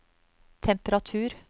temperatur